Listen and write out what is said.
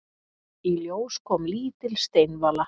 Í ljós kom lítil steinvala.